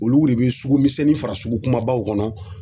Olu de bɛ sugu misɛnnin fara sugu kumabaw kɔnɔ